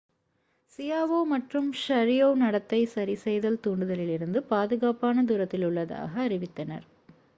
Xiao மற்றும் Sharipov நடத்தை சரிசெய்தல் தூண்டுதலிலிருந்து பாதுக்காப்பான தூரத்தில் உள்ளதாக அறிவித்தனர்